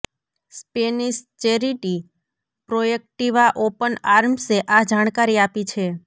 Spanish charity Proactiva open આર્મ્સે આ જાણકારી આપી છે